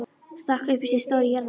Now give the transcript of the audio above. Stakk upp í sig stóru jarðarberi.